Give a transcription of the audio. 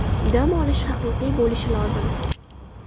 Dam olish haqiqiy bo‘lishi lozim.